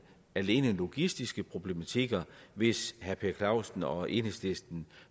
logistiske problematikker hvis herre per clausen og enhedslisten